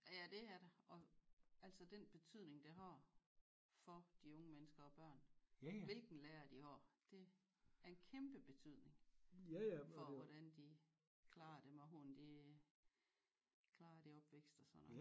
Ja ja det er der og altså den betydning det har for de unge mennesker og børn hvilken lærer de har det er en kæmpe betydning for hvordan de klarer dem og hvordan de klarer det opvækst og sådan noget